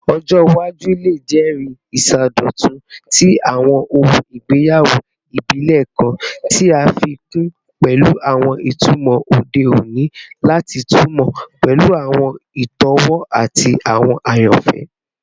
Ọjọ iwaju le jẹri isọdọtun ti awọn ohun igbeyawo ibile kan, ti a fi kun pẹlu awọn itumọ ode oni lati tunmọ pẹlu awọn itọwo ati awọn ayanfẹ